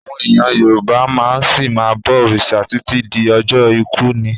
Àwọn èèyàn Yorùbá máa ṣì ma bọ̀ òrìṣà títí di ọjọ́ ikú ni.